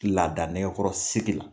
Laada nɛkɛkɔrɔ sigi la.